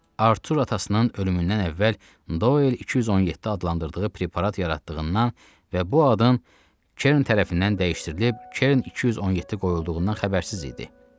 Artur atasının ölümündən əvvəl Doyl 217 adlandırdığı preparat yaratdığından və bu adın Kern tərəfindən dəyişdirilib Kern 217 qoyulduğundan xəbərsiz idi.